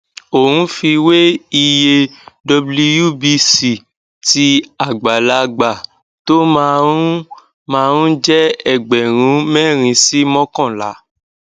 ò ń fi wé iye wbc tí àgbàlagbà tó máa ń máa ń jẹ ẹgbẹrun mẹrin sí mọkànlá